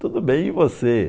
Tudo bem e você.